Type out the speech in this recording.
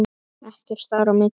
Ekkert þar á milli.